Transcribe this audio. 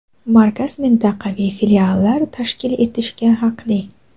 Markaz mintaqaviy filiallar tashkil etishga haqli.